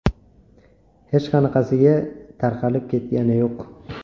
Hech qanaqasiga tarqalib ketgani yo‘q.